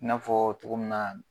I n'a fɔɔ cogo min na